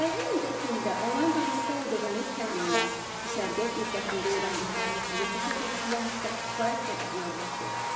Layihə müddətində onlayn formatda aldığımız təlimlər, düşərgə müddətində öyrəndiklərimiz bizə peşə təhsili haqqda kifayət qədər məlumat verir.